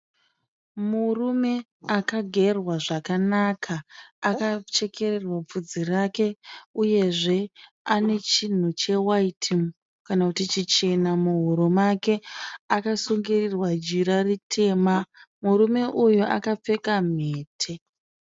Murume akagerwa zvakanaka. Akachekererwa vhudzi rake uyezve ane chinhu chewaiti kana kuti chichena muhuro make akasungirirwa jira ritema. Murume uyu akapfeka mhete.